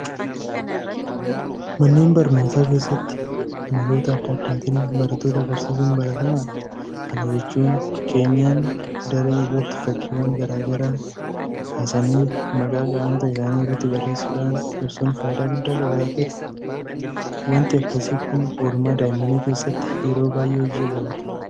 Manneen barnootaa keessatti maloota adda addaatiin barattoota barsiisuun baratamaadha. Kana jechuun Keenyan daree irratti fakkiiwwan garaa garaa kaasanii maqaa qaamota isaanii irratti barreessuudhaan ibsuun faayidaa guddaa qabaateera. Waanti akkasii kun oolmaa daa'immanii keessatti yeroo baay'ee hojii irra oola.